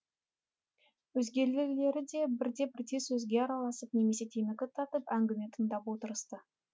өзгелері де бірте бірте сөзге араласып немесе темекі тартып әңгіме тыңдап отырысты